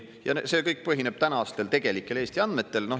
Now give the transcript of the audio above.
Ja see kõik põhineb tänastel tegelikel Eesti andmetel.